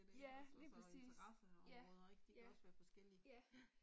Ja, lige præcis. Ja. Ja. Ja